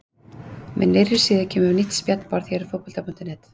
Með nýrri síðu kemur nýtt spjallborð hér á Fótbolta.net.